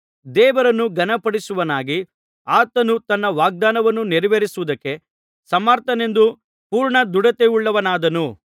ದೇವರನ್ನು ಘನಪಡಿಸುವವನಾಗಿ ಆತನು ತನ್ನ ವಾಗ್ದಾನವನ್ನು ನೆರವೇರಿಸುವುದಕ್ಕೆ ಸಮರ್ಥನೆಂದು ಪೂರ್ಣದೃಢತೆಯುಳ್ಳವನಾದನು